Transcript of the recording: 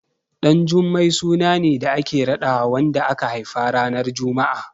Ɗanjummai suna ne da ake raɗawa wanda aka haifa ranar Juma'a.